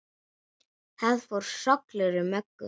Það fór hrollur um Möggu.